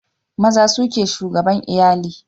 Maza su ke shugaban iyali